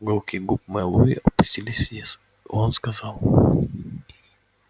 уголки губ мэллоу опустились вниз и он сказал